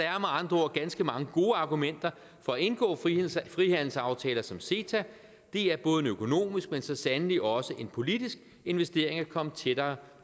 andre ord ganske mange gode argumenter for at indgå frihandelsaftaler som ceta det er både en økonomisk men så sandelig også en politisk investering at komme tættere